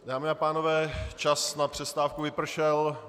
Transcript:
Dámy a pánové, čas na přestávku vypršel.